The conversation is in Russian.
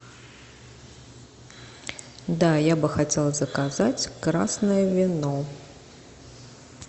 да я бы хотела заказать красное вино